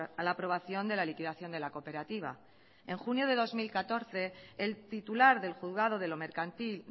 a la aprobación de la liquidación de la cooperativa en junio de dos mil catorce el titular del juzgado de lo mercantil